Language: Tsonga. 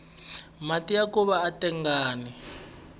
mati ya nkova aya tengangi